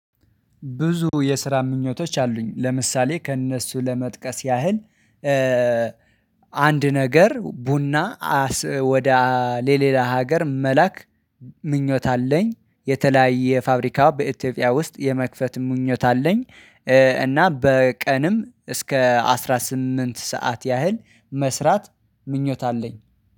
ብዙ የስራ ምኞቶች አሉኝ ለምሳሌ ከእነሱ ለመጥቀስ ያህል። አንድ ነገር ቡና ወደ ለሌላ ሀገር መላክ ምኞት አለኝ። የተለያየ ፋብሪካ በኢትዮጵያ ውስጥ የመክፈት ምኞት አለኝ። እና በቀንም እስከ አስራ ስምንት ሰዓት ያህል መስራት ምኞት አለኝ